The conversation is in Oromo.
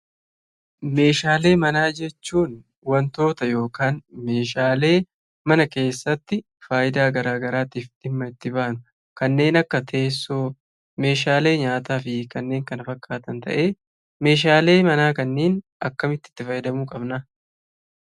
Meeshaalee manaa jechuun wantoota yookiin meeshaalee mana keessatti faayidaa garaa garaatiif dhimma itti baanu kanneen akka: teessoo, meeshaalee nyaataa fi kanneen kana fakkaatan. Meeshaalee manaa kanneen akkamitti itti fayyadamuu qabna?